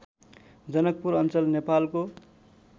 जनकपुर अञ्चल नेपालको